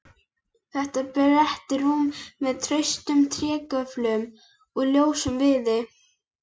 Þetta er breitt rúm með traustum trégöflum úr ljósum viði.